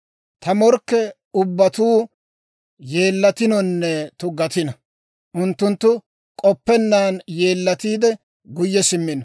Ta morkke ubbatuu yeellatinonne tuggatino. Unttunttu k'oppennaan yeellatiide, guyye simmino.